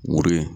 Woro ye